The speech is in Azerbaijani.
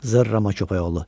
Zırrama köpəkoğlu.